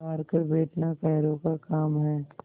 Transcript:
हार कर बैठना कायरों का काम है